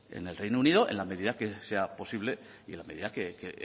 en el reino unido en la medida que sea posible y en la medida que